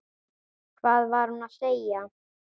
Hvað var hún að segja?